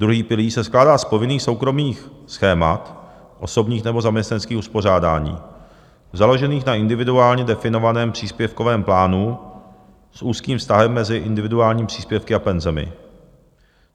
Druhý pilíř se skládá z povinných soukromých schémat, osobních nebo zaměstnaneckých uspořádání, založených na individuálně definovaném příspěvkovém plánu s úzkým vztahem mezi individuálními příspěvky a penzemi.